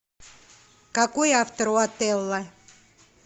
какой автор у отелло